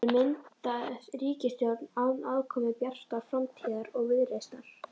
Verður mynduð ríkisstjórn án aðkomu Bjartrar framtíðar og Viðreisnar?